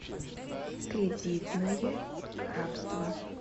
кредитное рабство